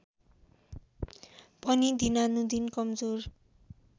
पनि दिनानुदिन कमजोर